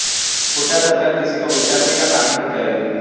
हुड्डा सरकार किसी को उजाडऩे का काम नहीं करेगी